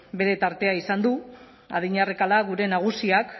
bere tartea izan du adina arrakala gure nagusiak